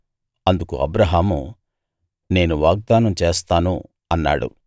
అందుకు అబ్రాహాము నేను వాగ్దానం చేస్తాను అన్నాడు